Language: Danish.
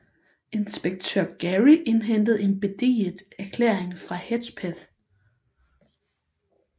Inspektør Gary indhentede en beediget erklæring fra Hedgepeth